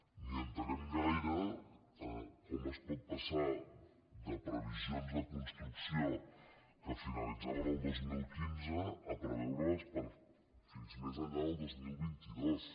ni entenem gaire com es pot passar de previsions de construcció que finalitzaven el dos mil quinze a preveure les fins més enllà del dos mil vint dos